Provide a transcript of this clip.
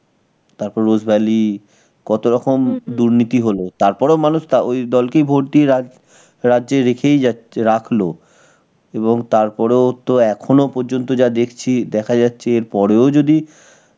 তারপর Rose Valley, কত রকম দুর্নীতি হলো. তার পরেও মানুষ তা ঐ দলকেই vote দিয়ে রাজ~ রাজ্যে রেখেই যাচ্ছে~, রাখল. এবং তার পরেও তো এখনো পর্যন্ত যা দেখছি, দেখা যাচ্ছে এরপরেও যদি